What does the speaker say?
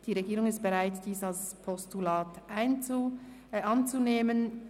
Die Regierung ist bereit, diese Motion als Postulat anzunehmen.